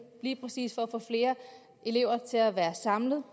lige præcis for at få flere elever til at være samlet